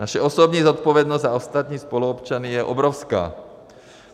Naše osobní zodpovědnost za ostatní spoluobčany je obrovská.